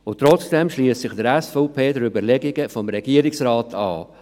Und trotzdem schliesst sich die SVP den Überlegungen des Regierungsrates an.